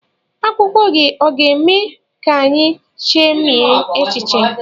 Agwụgwa gị ọ ga-eme ka anyị chemie echiche?